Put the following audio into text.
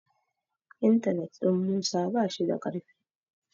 intanet ɗin Musa ba shi da karfi